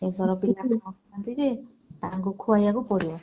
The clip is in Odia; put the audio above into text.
ଏଥର ତାଙ୍କୁ ଖୁଏଇବାକୁ ପଡିବ।